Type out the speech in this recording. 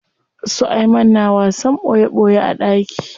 Su Ayman na wasan ɓoye ɓoye a ɗaki.